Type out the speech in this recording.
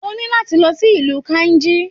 Oní láti lọ sí ìlú Kainji.